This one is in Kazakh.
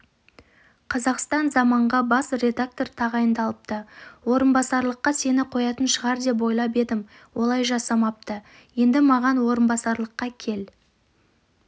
қазақстан заманға бас редактор тағайындалыпты орынбасарлыққа сені қоятын шығар деп ойлап едім олай жасамапты енді маған орынбасарлыққа кел